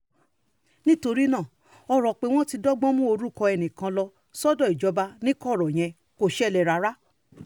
nítorí náà ọ̀rọ̀ pé wọ́n ti dọ́gbọ́n mú orúkọ ẹnìkan lọ sọ́dọ̀ ìjọba ní kọ̀rọ̀ yẹn kò ṣẹlẹ̀ rárá